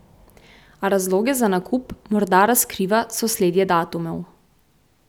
A razloge za nakup morda razkriva sosledje datumov.